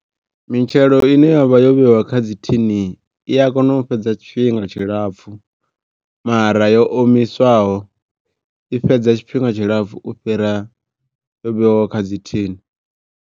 Mitshelo ine yavha yo vhewa kha dzi thini i a kona u fhedza tshifhinga tshilapfu. Mara yo o miswaho i fhedza tshifhinga tshilapfu u fhira yo vheiwa ho kha dzi thini.